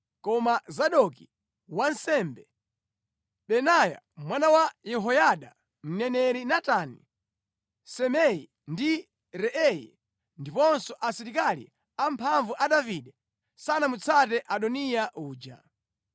Koma Zadoki wansembe, Benaya mwana wa Yehoyada, mneneri Natani, Simei ndi Rei ndiponso asilikali amphamvu a Davide sanamutsate Adoniya uja.